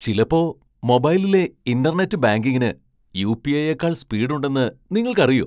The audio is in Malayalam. ചിലപ്പോ മൊബൈലിലെ ഇന്റർനെറ്റ് ബാങ്കിങ്ങിന് യു.പി.ഐ.യേക്കാൾ സ്പീഡ് ഉണ്ടെന്ന് നിങ്ങൾക്കറിയൊ ?